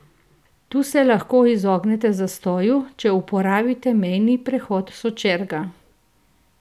Tu se lahko izognete zastoju, če uporabite mejni prehod Sočerga.